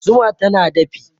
Zuma tana dafi